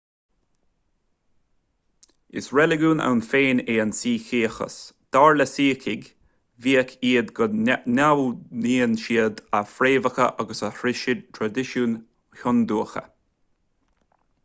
is reiligiún ann féin é an suíceachas dar le suícigh bíodh is go n-admhaíonn siad a fhréamhacha agus a thraidisiúin hiondúcha